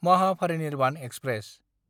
Mahaparinirvan express